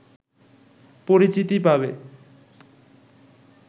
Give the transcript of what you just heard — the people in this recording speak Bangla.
পরিচিতি পাবে